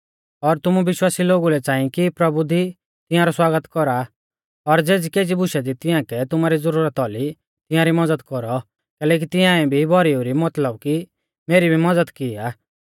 और तुमु विश्वासी लोगु लै च़ांई कि प्रभु दी तिंयारौ स्वागत कौरा और ज़ेज़ीकेज़ी बुशा दी तिंया कै तुमारी ज़रूरत औली तिंयारी मज़द कौरौ कैलैकि तिंआऐ भी भौरीऊ री मतलब की मेरी भी मज़द की आ